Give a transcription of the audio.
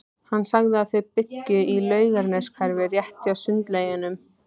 Hann sagði að þau byggju í Laugarneshverfinu, rétt hjá Sundlaugunum.